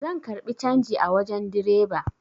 Zan karbi canji a wajen direba